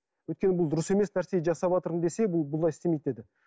өйткені бұл дұрыс емес нәрсе жасаватырмын десе бұл бұлай істемейтін еді